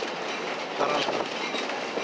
karasburg